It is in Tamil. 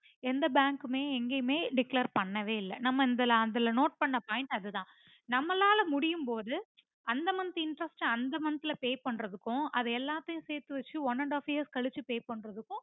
எந்த bank மே எங்கேயுமே declare பண்ணவேயில்லை நம்ப அந்த அதுல நோட் பண்ண point அதுத நம்மளால முடியும் பொது அந்த month interest அ அந்த month ல pay பண்றதுக்கும் அத எல்லாத்தையும் சேர்த்து வெச்சி one and half years கழிச்சி pay பண்றதுக்கும்